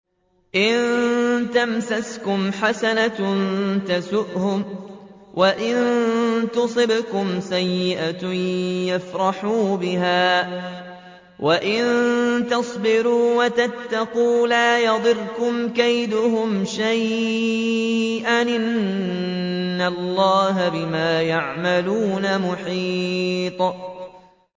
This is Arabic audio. إِن تَمْسَسْكُمْ حَسَنَةٌ تَسُؤْهُمْ وَإِن تُصِبْكُمْ سَيِّئَةٌ يَفْرَحُوا بِهَا ۖ وَإِن تَصْبِرُوا وَتَتَّقُوا لَا يَضُرُّكُمْ كَيْدُهُمْ شَيْئًا ۗ إِنَّ اللَّهَ بِمَا يَعْمَلُونَ مُحِيطٌ